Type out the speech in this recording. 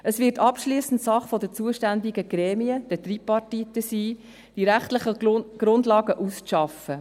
Es wird abschliessend Sache der zuständigen Gremien, den Tripartiten, sein, die rechtlichen Grundlagen auszuarbeiten.